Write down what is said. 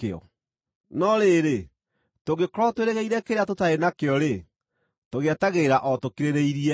No rĩrĩ, tũngĩkorwo twĩrĩgĩrĩire kĩrĩa tũtarĩ nakĩo-rĩ, tũgĩetagĩrĩra o tũkirĩrĩirie.